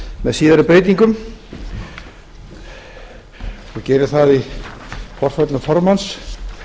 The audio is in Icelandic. með síðari breytingum og geri það í forföllum formanns